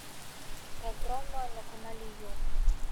программа на канале ю